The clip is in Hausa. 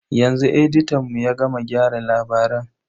Yanzu editan mu ya gama gyara labaran.